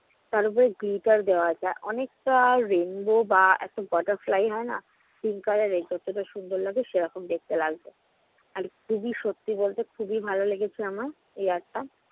তারওপরে gritter দেওয়া আছে আর অনেকটা rainbow বা একটা butterfly হয়না pink color rainbow তো সুন্দর লাগে সেরকম দেখতে লাগছে। আর খুবই সত্যি বলতে খুবই ভালো লেগেছে আমার এই art টা